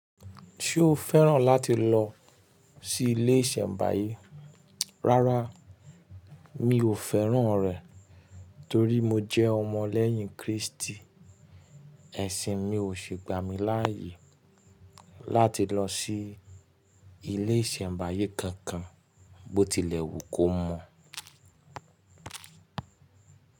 Ṣé o fẹ́ràn láti lọ sí ilé ìṣẹ̀mbáyé? Rárá mi ò fẹ́ràn rẹ̀ torí mo jẹ́ ọmọ lẹ́yìn Kristi, ẹ̀sìn mi ò sì gbà mí láààyè láti lọ sí ilé ìṣẹ̀mbáyé kankan bó tilẹ̀ wù kó mọ̀